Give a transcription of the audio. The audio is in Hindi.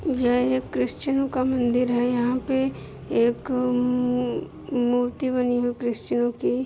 यह एक क्रिस्चियन का मंदिर है यहां पे एक मू मूर्ति बनी हुई है क्रिस्चियनो की।